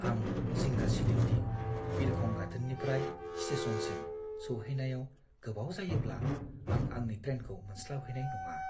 आं जिंगा सिदोंदि बिरखं गाथोननिफ्राय स्टेशनसिम सौहैनायाव गोबाव जायोब्ला आं आंनि ट्रेनखौ मोनस्लाबहैनाय नङा।